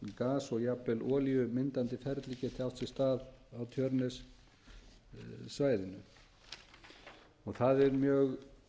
gas og jafnvel olíumyndandi ferli geti átt sér stað á tjörnessvæðinu það er mjög